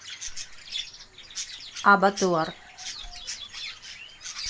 абатуар